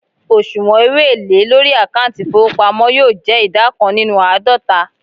osuwon owo ele lori akanti ifowopamo yoo je ida kan ninu aadota